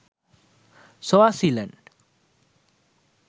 swasiland